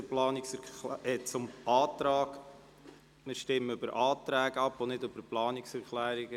Wir stimmen über Anträge ab und nicht über Planungserklärungen.